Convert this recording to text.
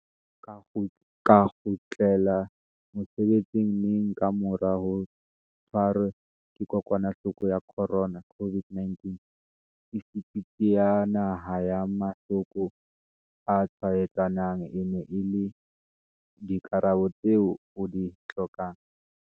ka kgutlela mosebetsing neng ka mora ho tshwarwa ke kokwanahloko ya corona, COVID-19, Institjhuti ya Naha ya Mahlo ko a Tshwaetsanang e na le dikarabo tseo o di hlokang.